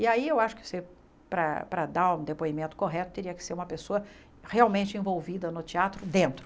E aí eu acho que você, para para dar um depoimento correto, teria que ser uma pessoa realmente envolvida no teatro dentro.